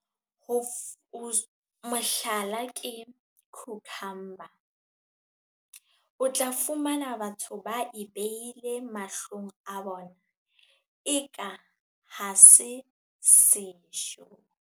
Mohlala ke cucumber. O tla fumana batho ba e beile mahlong a bona eka ha se sejo.